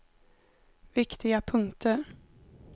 viktiga punkter